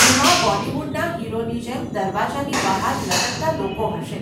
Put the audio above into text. એમાં બોલિવૂડના હીરોની જેમ દરવાજાની બહાર લટકતાં લોકો હશે.